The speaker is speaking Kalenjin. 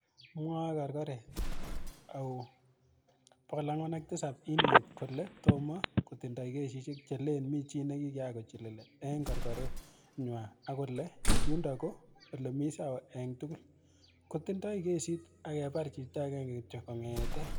Mwae korokoret ao 407-inmate kole tomo kotindoi kesishek chelen mi che nikiakochilili ing korokoret nywaa ak kolen yundok ko olemisawa ing tugul, ko tindoi kesit apkepar chito aenge kityo kongetee.